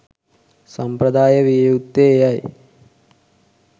සම්ප්‍රදාය විය යුත්තේ එයයි.